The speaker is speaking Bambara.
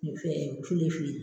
filifili.